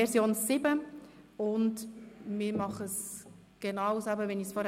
Wir gehen genauso vor, wie ich es vorhin gesagt habe: